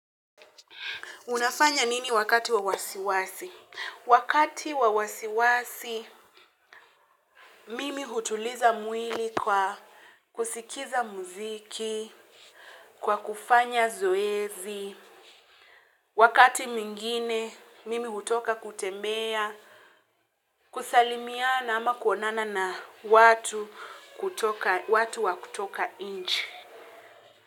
Unafanya nini wakati wa wasiwasi? Wakati wa wasiwasi, mimi hutuliza mwili kwa kusikiza muziki, kwa kufanya zoezi. Wakati mwingine, mimi hutoka kutembea, kusalimiana ama kuonana na watu wakutoka nchi.